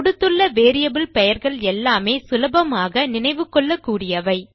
கொடுத்துள்ள வேரியபிள் பெயர்களெல்லாமே சுலபமாக நினைவு கொள்ளக்கூடியவை